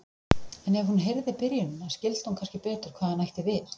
En ef hún heyrði byrjunina skildi hún kannski betur hvað hann ætti við.